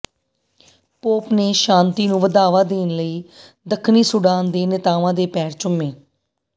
pop ਨੇ ਸ਼ਾਂਤੀ ਨੂੰ ਵਧਾਵਾ ਦੇਣ ਲਈ ਦਖਣੀ ਸੁਡਾਨ ਦੇ ਨੇਤਾਵਾਂ ਦੇ ਪੈਰ ਚੁੰਮੇ